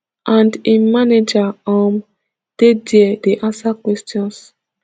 and im manager um dey dia dey answer questions